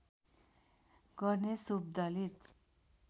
गर्ने सोव दलित